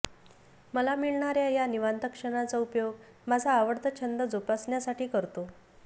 मला मिळणाऱ्या या निवांत क्षणांचा उपयोग माझा आवडता छंद जोपासण्यासाठी करतो